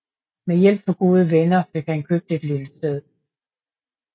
Med hjælp fra gode venner fik han købt et lille sted